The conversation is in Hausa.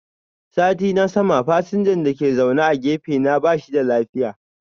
Satin na sama fasinjan dake zaune a gefe na bashi da lafiya.